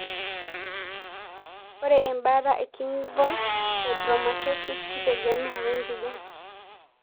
Ore embataa e gingval fibromatosis keitegemea wempijan.